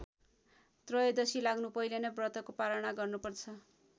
त्रयोदशी लाग्नु पहिले नै व्रतको पारणा गर्नुपर्छ।